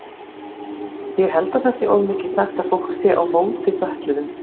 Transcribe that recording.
Ég held það sé of mikið sagt að fólk sé á móti fötluðum.